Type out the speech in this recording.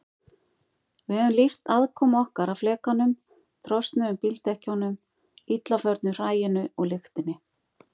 Við höfum lýst aðkomu okkar að flekanum, trosnuðum bíldekkjunum, illa förnu hræinu og lyktinni.